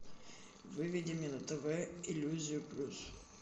выведи мне на тв иллюзию плюс